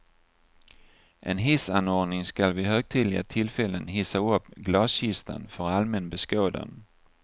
En hissanordning skall vid högtidliga tillfällen hissa upp glaskistan för allmän beskådan.